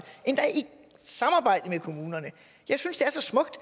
endda i samarbejde med kommunerne jeg synes det er så smukt